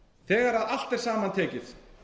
þegar allt er saman tekið